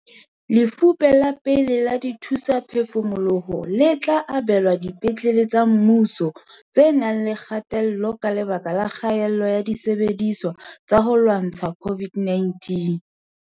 Lefupe la pele la dithusaphefumoloho le tla abelwa dipetlele tsa mmuso tse nang le kgatello ka lebaka la kgaello ya disebediswa tsa ho lwantsha COVID-19.